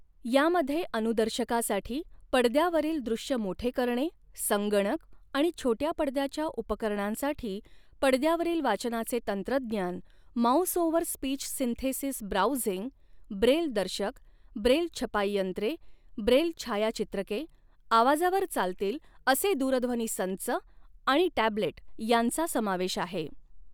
यामध्ये अनुदर्शकासाठी पडद्यावरील दृश्य मोठे करणे, संगणक आणि छोट्या पडद्याच्या उपकरणांसाठी पडद्यावरील वाचनाचे तंत्रज्ञान, mouse over speech synthesis browsing, Braille दर्शक, ब्रेल छपाईयंत्रे, ब्रेल छायाचित्रके, आवाजावर चालतील असे दूरध्वनी संच आणि टॅब्लेट यांचा समावेश आहे.